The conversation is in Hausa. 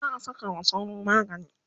za'a Saka wa sauro magani